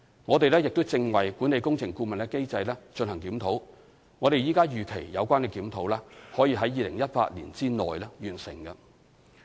我們正為管理工程顧問機制進行檢討，我們現時預期有關檢討可於2018年內完成。